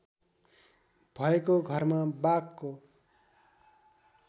भएको घरमा बाघको